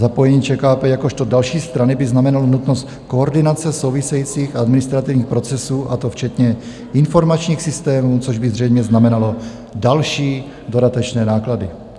Zapojení ČKP jakožto další strany by znamenalo nutnost koordinace souvisejících administrativních procesů, a to včetně informačních systémů, což by zřejmě znamenalo další dodatečné náklady."